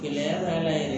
Gɛlɛya b'a la yɛrɛ